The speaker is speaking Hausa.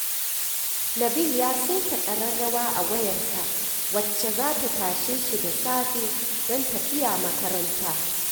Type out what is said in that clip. Nabil ya saita ƙararrawa a wayarsa wacce za ta tashe shi da safe don tafiya makaranta